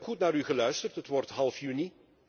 Ik heb goed naar u geluisterd, het wordt half juni.